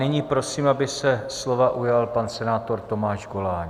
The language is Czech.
Nyní prosím, aby se slova ujal pan senátor Tomáš Goláň.